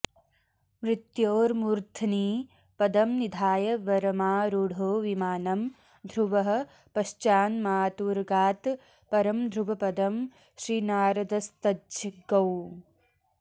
मृत्योर्मूर्ध्नि पदं निधाय वरमारूढो विमानं ध्रुवः पश्चान्मातुरगात् परं ध्रुवपदं श्रीनारदस्तज्जगौ